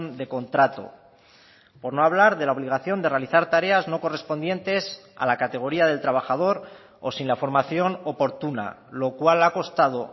de contrato por no hablar de la obligación de realizar tareas no correspondientes a la categoría del trabajador o sin la formación oportuna lo cual ha costado